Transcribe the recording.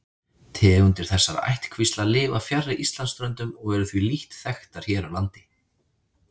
Tegundir þessara ættkvísla lifa fjarri Íslandsströndum og eru því lítt þekktar hér á landi.